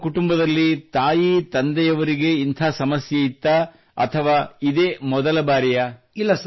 ನಿಮ್ಮ ಕುಟುಂಬದಲ್ಲಿ ತಾಯಿ ತಂದೆಯವರಿಗೆ ಇಂಥ ಸಮಸ್ಯೆಯಿತ್ತೇ ಅಥವಾ ಇದೇ ಮೊದಲ ಬಾರಿಯೇ